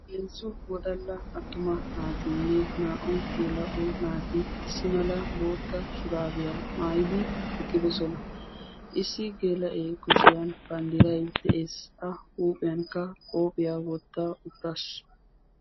heezzu wodalla attuma naatiinne naa''u geela'o naati issi mala bootta shuraabiyaa maayidi eqqidosona issi geela'ee kushiyan banddiray de'ees a huuphiyankka qoophiyaa wotta uttaasu